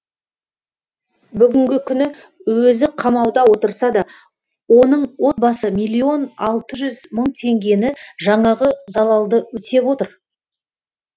бүгінгі күні өзі қамауда отырса да оның отбасы миллион алты жүз мың теңгені жаңағы залалды өтеп отыр